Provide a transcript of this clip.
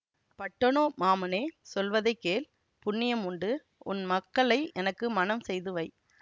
பட்டனோ மாமனே சொல்வதை கேள் புண்ணியம் உண்டு உன் மக்களை எனக்கு மணம் செய்து வை